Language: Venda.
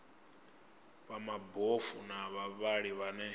vha mabofu na vhavhali vhane